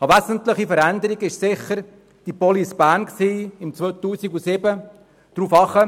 Eine wesentliche Veränderung war sicher Police Bern im Jahr 2007.